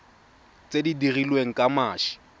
tse di dirilweng ka mashi